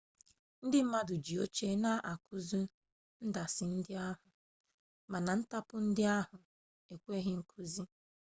ndị mmadụ ji oche na-akụ ndasị ndị ahụ mana ntapu ndị ahụ ekweghi nkụwa